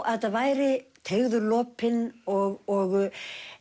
að þetta væri teygður lopinn og